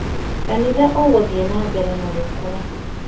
Kanitha ũgũthiĩ na mbere gũkũra